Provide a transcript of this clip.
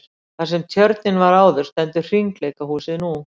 Þar sem tjörnin var áður stendur hringleikahúsið nú.